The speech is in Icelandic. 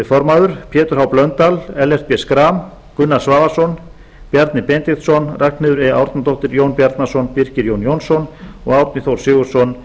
formaður pétur h blöndal ellert b schram gunnar svavarsson bjarni benediktsson ragnheiður e árnadóttir jón bjarnason birkir j jónsson og árni þór sigurðsson